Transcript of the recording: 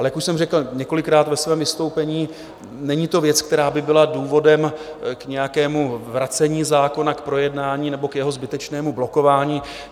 Ale jak už jsem řekl několikrát ve svém vystoupení, není to věc, která by byla důvodem k nějakému vracení zákona, k projednání nebo k jeho zbytečnému blokování.